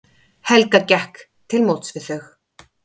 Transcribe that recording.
Helga gekk til móts við þau.